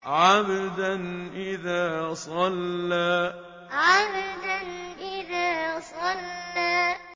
عَبْدًا إِذَا صَلَّىٰ عَبْدًا إِذَا صَلَّىٰ